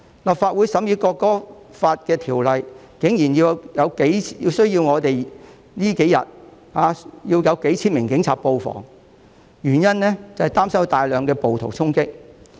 立法會這數天審議《條例草案》的條文，竟然需要數千名警員布防，原因是擔心有大量暴徒衝擊。